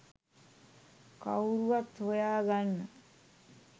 කවුරුවත් හොයා ගන්න